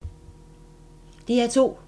DR2